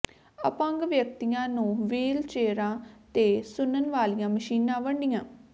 ਅਪੰਗ ਵਿਅਕਤੀਆਂ ਨੂੰ ਵ੍ਹੀਲ ਚੇਅਰਾਂ ਤੇ ਸੁਣਨ ਵਾਲੀਆਂ ਮਸ਼ੀਨਾਂ ਵੰਡੀਆਂ